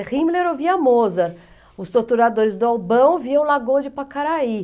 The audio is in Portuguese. É Himmler ouvia Mozart, os torturadores do Albão viam Lagoa de Pacaraí.